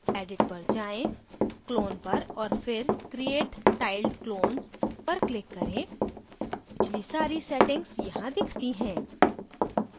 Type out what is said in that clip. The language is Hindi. edit पर जाएँ clone पर और फिर create tiled clones पर click करें पिछली सारी settings यहाँ दिखती हैं